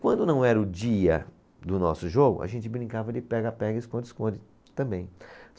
Quando não era o dia do nosso jogo, a gente brincava de pega-pega, esconde-esconde também.